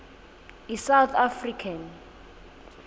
i south african